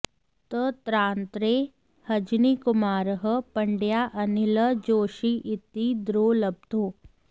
तत्रान्तरे हजनीकुमारः पण्डया अनिलः जोशी इति द्रौ लब्धौ